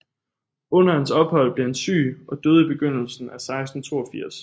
Under hans ophold blev han syg og døde i begyndelsen af 1682